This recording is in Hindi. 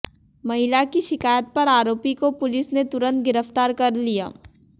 महिला की शिकायत पर आरोपी को पुलिस ने तुरंत गिरफ्तार कर लिया